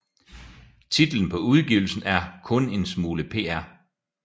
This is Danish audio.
Titlen på udgivelsen er Kun 1 Smule Pr